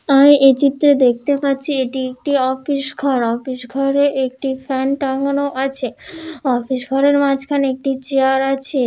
আর এই চিএে দেখতে পাচ্ছি এটি একটি অফিস ঘরঅফিস ঘরে একটি ফ্যান টাঙানো আছে অফিস ঘরের মাঝখানে একটি চেয়ার আছে।